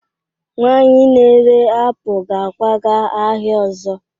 nwanyị na-ere apụl ga-akwaga ahịa ọzọ